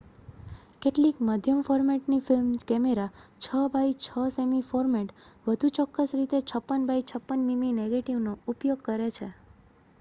કેટલીક મધ્યમ-ફોર્મેટના film camera 6 by 6 semi format વધુ ચોક્કસ રીતે 56 બાય 56 મીમી નેગેટિવનો ઉપયોગ કરે છે